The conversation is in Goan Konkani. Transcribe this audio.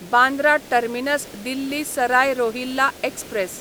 Bandra terminus Delhi Sarai Rohilla express